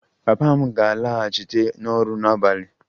Papa m ga-alaghachite n'ọrụ n'abalị